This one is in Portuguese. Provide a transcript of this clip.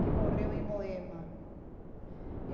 Ele morreu em Moema.